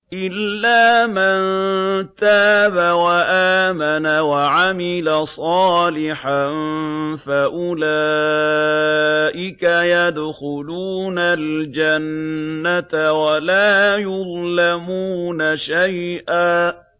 إِلَّا مَن تَابَ وَآمَنَ وَعَمِلَ صَالِحًا فَأُولَٰئِكَ يَدْخُلُونَ الْجَنَّةَ وَلَا يُظْلَمُونَ شَيْئًا